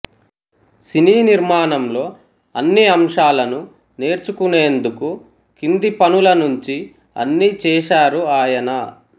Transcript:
సినీ నిర్మాణంలో అన్ని అంశాలనూ నేర్చుకునేందుకు కింది పనుల నుంచీ అన్ని చేశారు ఆయన